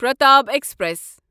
Pratap express